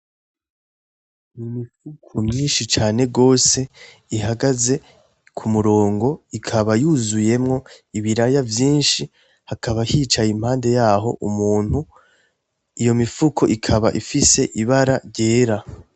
Imifuko myinshi cane gose ihagaze ku murongo. Ikaba yuzuyemwo ibiraya vyinshi. Hakaba hicaye impande y'aho umuntu. Iyo mifuko ikaba ifise ibara ryera.